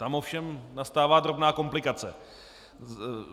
Tam ovšem nastává drobná komplikace.